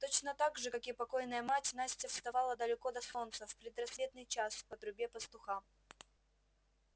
точно так же как и покойная мать настя вставала далеко до солнца в предрассветный час по трубе пастуха